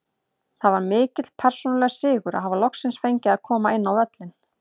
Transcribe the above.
Það var mikill persónulegur sigur að hafa loksins fengið að koma inn á völlinn.